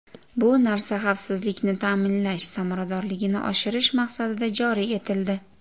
Bu narsa xavfsizlikni ta’minlash samaradorligini oshirish maqsadida joriy etildi.